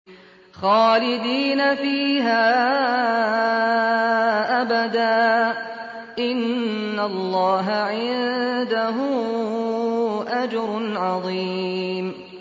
خَالِدِينَ فِيهَا أَبَدًا ۚ إِنَّ اللَّهَ عِندَهُ أَجْرٌ عَظِيمٌ